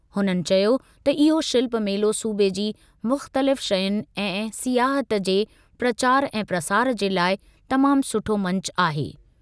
हुननि चयो त इहो शिल्प मेलो सूबे जी मुख़्तलिफ़ शयुनि ऐं सियाहत जे प्रचार ऐं प्रसार जे लाइ तमाम सुठो मंचु आहे।